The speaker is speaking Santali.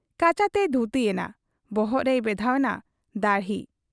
ᱠᱟᱪᱟ ᱛᱮᱭ ᱫᱷᱩᱛᱤ ᱜᱮᱱᱟ ᱾ ᱵᱚᱦᱚᱜ ᱨᱮᱭ ᱵᱮᱫᱷᱟᱣ ᱮᱱᱟ ᱫᱟᱹᱦᱲᱤ ᱾